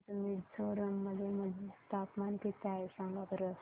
आज मिझोरम मध्ये तापमान किती आहे सांगा बरं